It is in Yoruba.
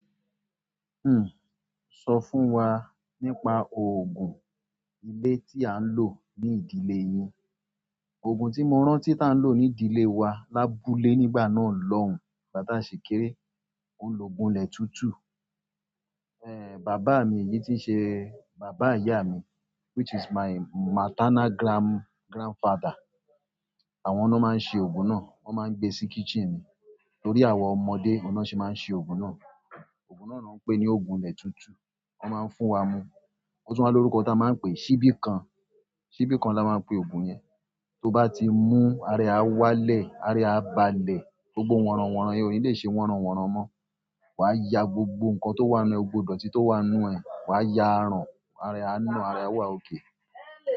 Hmm, sọ fún wa nípa òògùn ilé tí a ń lò ní ìdílé yín. Òògùn tí mo rántí tí a ń lò ní ìdílé wa lábúlé nígbà náà lọ́hùn, ìgbà tá ṣi kéré, óun lògùn ilẹ̀ tútù. Eh, bàbá mi yìí tí ṣe bàbá ìyá mi, which is my maternal grand-grandfather. Àwọn lo máa ń ṣe òògùn náà. Wọ́n máa ń gbé sí kitchen. Nítorí àwọn ọmọdé, oun na ṣe máa ń ṣe òògùn náà. Òògùn náà ni wọ́n ń pè ní òògùn ilẹ̀ tútù. Wọ́n máa ń fún wa mu. Ó tún máa ń ní orúkọ tí a máa ń pè é, ṣíbí kan. Ṣíbí kan la máa ń pe òògùn yẹn. Tó bá ti mú, ara ẹ á wálẹ̀, ara ẹ á balẹ̀. Gbogbo wanran wanran yẹn ò ní lè ṣe wanran wanran mọ́. Wà á ya gbogbo nǹkan tó wà nínú e, gbògbò idoti tó wà nínú ẹ, wà á ya arán, ara ẹ á na, ara ẹ a wà okay.